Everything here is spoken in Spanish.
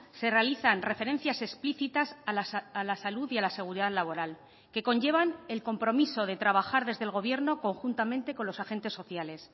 se realizan referencias explícitas a la salud y a la seguridad laboral que conllevan el compromiso de trabajar desde el gobierno conjuntamente con los agentes sociales